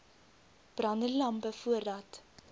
brandende lampe voordat